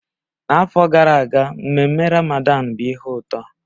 N'afọ gara aga mmenme Ramadan bụ ihe ụtọ